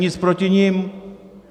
Nic proti nim.